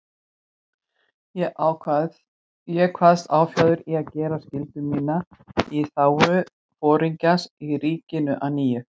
Ég kvaðst áfjáður í að gera skyldu mína í þágu Foringjans og ríkisins að nýju.